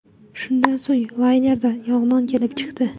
Shundan so‘ng laynerda yong‘in kelib chiqdi.